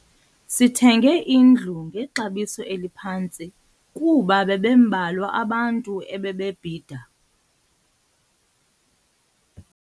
Sithenge indlu ngexabiso eliphantsi kuba bebembalwa abantu ebebebhida.